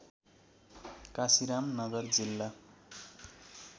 काशीराम नगर जिल्ला